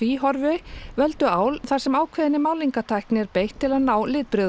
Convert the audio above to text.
Tvíhorfi völdu ál þar sem ákveðinni málningartækni er beitt til að ná